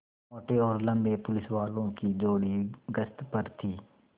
मोटे और लम्बे पुलिसवालों की जोड़ी गश्त पर थी